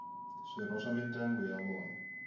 swirho swa mindyangu ya vona